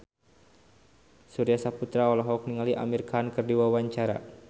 Surya Saputra olohok ningali Amir Khan keur diwawancara